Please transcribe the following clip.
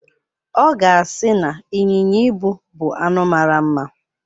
Ọ ga-asị na ịnyịnya ibu bu anụ mara mma.